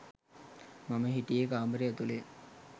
මම හිටියෙ කාමරේ ඇතුළෙ.